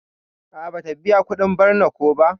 A'a bata biƴa kudin barna ko ba.